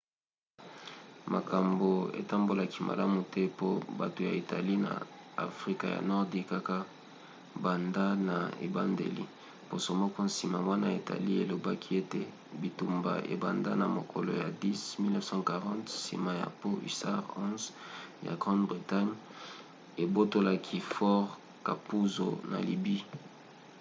makambo etambolaki malamu te po bato ya italie na afrika ya nordi kaka banda na ebandeli. poso moko nsima wana italie elobaki ete bitumba ebanda na mokolo ya 10 1940 nsima ya po hussars 11 ya grande-bretagne ebotolaki fort capuzzo na libye